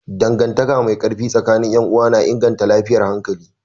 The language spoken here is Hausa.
Dangantaka mai ƙarfi tsakanin 'yan uwa na inganta lafiyar hankali.